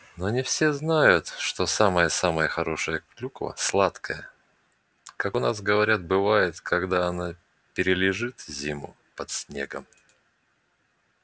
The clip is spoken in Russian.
но не все знают что самая-самая хорошая клюква сладкая как у нас говорят бывает когда она перележит зиму под снегом